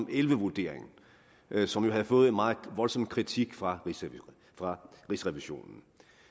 og elleve vurderingen som jo havde fået en meget voldsom kritik fra fra rigsrevisionen